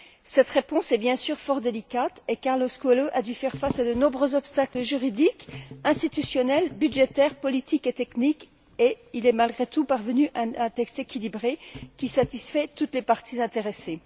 Cette réponse est bien sûr fort délicate et Carlos Coelho a dû faire face à des nombreux obstacles juridiques, institutionnels, budgétaires, politiques et techniques et il est, malgré tout, parvenu à un texte équilibré qui satisfait toutes les parties intéressées.